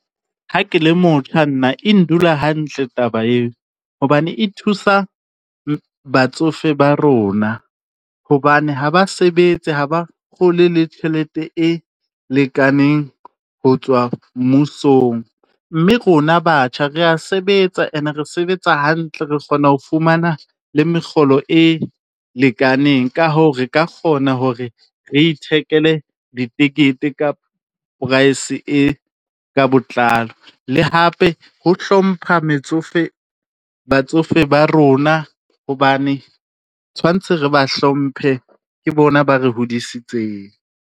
Ha ke le motjha nna, e ndula hantle taba eo. Hobane e thusa batsofe ba rona, hobane ha ba sebetse ha ba kgole le tjhelete e lekaneng ho tswa mmusong, mme rona batjha, re ya sebetsa ene re sebetsa hantle re kgona ho fumana le mekgolo e lekaneng. Ka hoo, re ka kgona hore re ithekele ditekete kapa price e ka botlalo, le hape ho hlompha metsofe batsofe ba rona, hobane tshwantse re ba hlomphe. Ke bona ba re hodisitseng.